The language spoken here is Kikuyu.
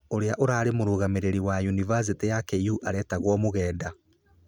ũrĩa ũrarĩ mũrũgamĩrĩri wa unibacitĩ ya KU aretagwo Mugenda.